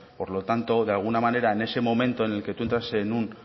por lo tanto de alguna manera en ese momento en el que tú entras en un